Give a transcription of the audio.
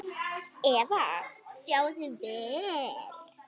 Eva: Sjáið þið vel?